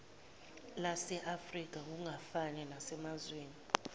laseafrika kungafani nasemazweni